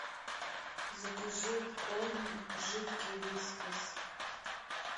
закажи корм жидкий вискас